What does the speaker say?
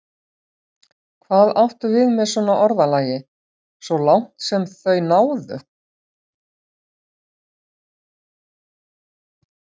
Hvað áttu við með svona orðalagi: svo langt sem þau náðu?